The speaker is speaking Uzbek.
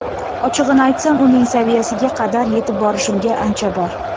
Ochig‘ini aytsam, uning saviyasiga qadar yetib borishimga ancha bor.